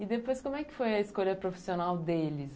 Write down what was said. E depois, como é que foi a escolha profissional deles?